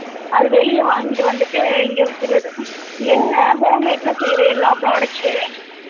அத வெளில வாங்கிட்டு வந்துட்டு இங்க விக்கிறது என்னை home made ல பண்ற எல்லா products உ